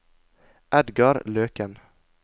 Edgar Løken